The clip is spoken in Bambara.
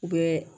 U bɛ